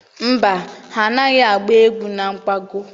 Mba, ha anaghị agba egwu na nkwago.